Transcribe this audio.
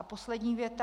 A poslední věta.